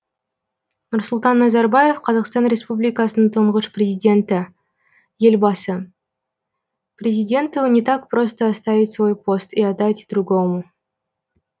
нұрсұлтан назарбаев қазақстан республикасының тұңғыш президенті елбасы президенту не так просто оставить свой пост и отдать другому